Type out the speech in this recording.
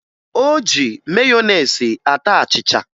O ji meyonezi ata achịcha